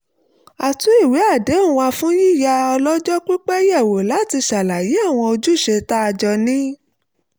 a tún ìwé àdéhùn wa fún yíyá ọlọ́jọ́ pípẹ́ yẹ̀wò láti ṣàlàyé àwọn ojúṣe tá a jọ ní